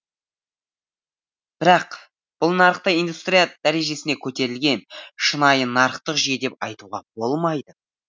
бірақ бұл нарықты индустрия дәрежесіне көтерілген шынайы нарықтық жүйе деп айтуға болмайды